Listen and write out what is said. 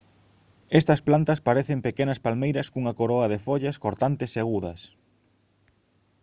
estas plantas parecen pequenas palmeiras cunha coroa de follas cortantes e agudas